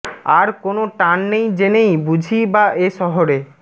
আর কোন টান নেই জেনেই বুঝি বা এ শহরে